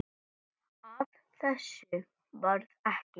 Af þessu varð ekki.